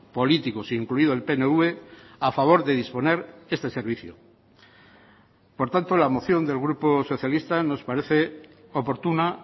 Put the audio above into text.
políticos incluido el pnv a favor de disponer este servicio por tanto la moción del grupo socialista nos parece oportuna